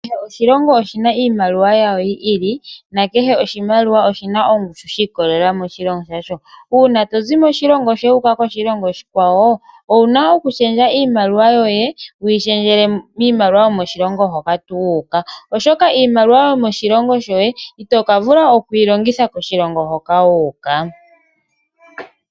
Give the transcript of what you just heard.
Kehe oshilongo oshina iimaliwa yasho yi ili, na ke he oshilongo oshina ongushu yi ikolelela moshilongo shashi. Uuna to zi moshilongo shoye wu uka moshilongo oshikwawo, owuna okushendja iimaliwa yoye, to yi shendjele miimaliwa yomoshilongo moka wu uka. Oshoka iimaliwa yomo shilongo shoye ito ka vula oku yi longitha koshilongo hoka wu uka.